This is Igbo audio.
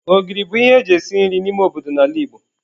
Ogiri bu ihe eji esi nri n'ime obodo n'ala Igbo.